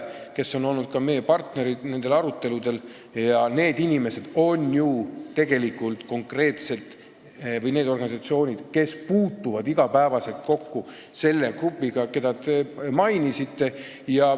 Nemad on ka olnud nendel aruteludel ja need organisatsioonid puutuvad ju konkreetselt iga päev kokku selle grupiga, keda te mainisite.